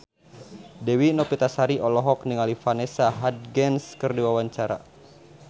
Dewi Novitasari olohok ningali Vanessa Hudgens keur diwawancara